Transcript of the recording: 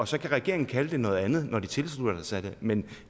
så kan regeringen kalde det noget andet når de tilslutter sig det men